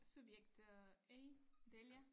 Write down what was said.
Subjekt øh A Dalia